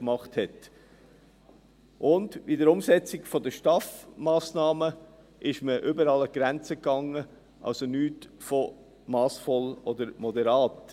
Bei der Umsetzung der STAF-Massnahmen ging man überall an die Grenze, also nichts von massvoll oder moderat.